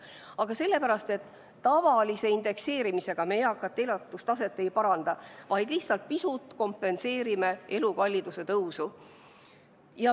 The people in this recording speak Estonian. Aga sellepärast, et tavalise indekseerimisega me eakate elatustaset ei paranda, vaid lihtsalt pisut kompenseerime elukalliduse tõusu.